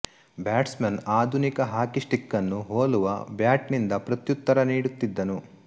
bats Mann ಆಧುನಿಕ hockey stick ಅನ್ನು ಹೋಲುವ ಬ್ಯಾಟ್ ನಿಂದ ಪ್ರತ್ಯುತ್ತರ ನೀಡುತ್ತಿದ್ದನು